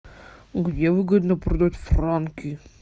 где выгодно продать франки